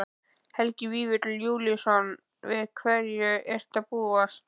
Helgi Vífill Júlíusson: Við hverju ertu að búast?